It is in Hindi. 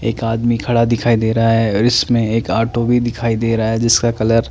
एक आदमी खड़ा दिखाई दे रहा है और इसमें एक ऑटो भी दिखाई दे रहा है जिसका कलर --